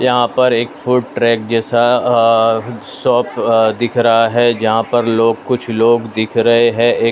यहाँ पर एक फूड ट्रैक जैसा अ शॉप अ दिख रहा है जहाँ पर लोग कुछ लोग दिख रहे है एक --